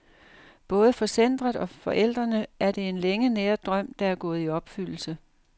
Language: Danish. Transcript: Både for centret og forældrene er det en længe næret drøm, der er gået i opfyldelse.